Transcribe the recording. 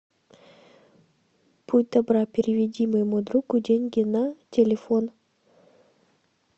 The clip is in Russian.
будь добра переведи моему другу деньги на телефон